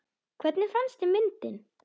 Hvernig fannst þér myndin?